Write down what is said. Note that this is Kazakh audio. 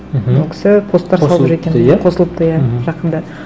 мхм ол кісі посттар қосылыпты иә жақында